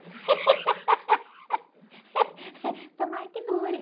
Tomara que dure.